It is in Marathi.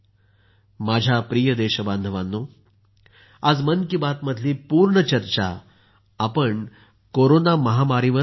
माझ्या प्रिय देशबांधवांनो आज मन की बात मधली पूर्ण चर्चा आपण कोरोना महामारीवरच घेतली